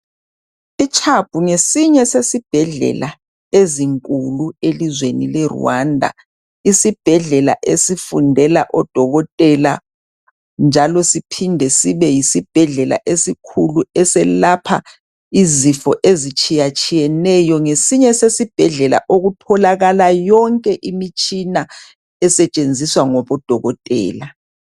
ICHUB ngesinye sesibhedlela ezinkulu elizweni leRwanda, isibhedlela esifundela odokotela njalo siphinde sibe yisibhedlela esikhulu eselapha izifo ezitshiyetshiyeneyo. Ngesinye sesibhedlela okutholakala yonke imitshina esetshenziswa ngabodokotela.